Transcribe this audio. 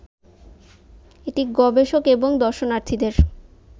এটি গবেষক এবং দর্শনার্থীদের